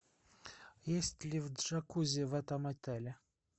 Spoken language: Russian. есть ли джакузи в этом отеле